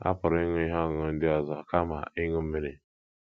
À pụrụ ịṅụ ihe ọṅụṅụ ndị ọzọ kama ịṅụ mmiri?